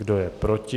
Kdo je proti?